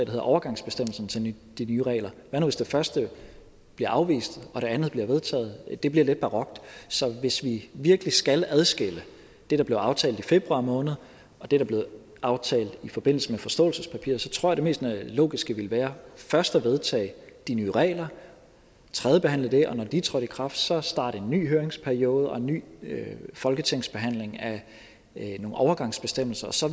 hedder overgangsbestemmelsen til de nye regler hvad nu hvis det første bliver afvist og det andet bliver vedtaget det bliver lidt barokt så hvis vi virkelig skal adskille det der blev aftalt i februar måned og det der blev aftalt i forbindelse med forståelsespapiret tror jeg det mest logiske ville være først at vedtage de nye regler tredjebehandle det og når de er trådt i kraft så at starte en ny høringsperiode og en ny folketingsbehandling af nogle overgangsbestemmelser og så